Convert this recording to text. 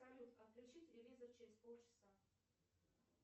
салют отключи телевизор через полчаса